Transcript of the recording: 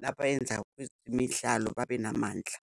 nabeyenza kwezemidlalo, babe namandla.